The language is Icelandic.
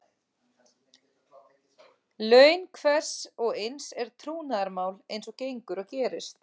Laun hvers og eins er trúnaðarmál eins og gengur og gerist.